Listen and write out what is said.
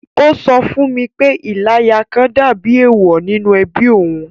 Ó sọ fún mi pé “. Ìláya kan” dàbí èèwọ̀ nínú ẹbí òun